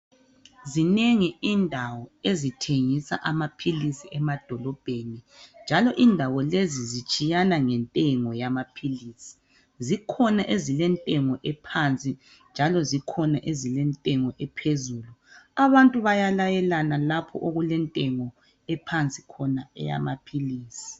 Zinengi indawo ezithengisa amaphilisi emadolobheni njalo indawo lezi zitshiyana ngentengo yamaphilisi. Zikhona ezilentengo ephansi njalo zikhona ezilentengo ephezulu. Abantu bayalayelana lapha okulentengo ephansi khona eyamaphilisi.